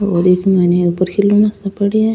और इसमें ऊपर खिलौने से पड़े है।